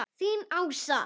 Þín Ása.